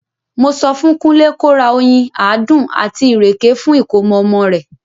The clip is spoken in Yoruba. Mo sọ fún Kúnlé ko ra oyín, àádùn, àti ìrèké fún ìkómọ ọmọ rẹ̀.